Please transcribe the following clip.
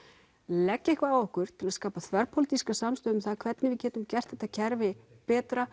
leggja eitthvað á okkur til að skapa þverpólitíska samstöðu um hvernig við getum gert þetta kerfi betra